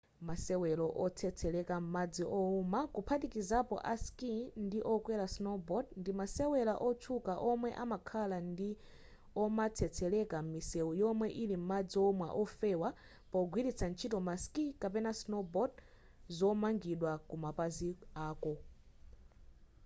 masewero otsetsereka m'madzi owuma kuphatikizapo a skii ndi okwera snowboard ndimasewera wotchuka omwe amakhala omatsetsereka m'misewu yomwe ili madzi owuma ofewa pogwiritsa ntchito ma skii kapena snowboard zomangidwa kumapazi ako